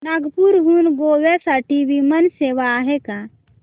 नागपूर हून गोव्या साठी विमान सेवा आहे का